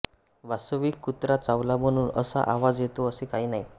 वास्तविक कुत्रा चावला म्हणून असा आवाज येतो असे काही नाही